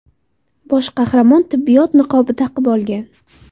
Bosh qahramon tibbiyot niqobi taqib olgan.